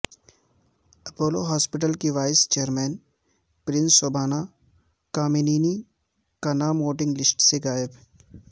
Apollo hospital کی vice chair person Shobana Kamineni کا نام ووٹنگ لسٹ سے غائب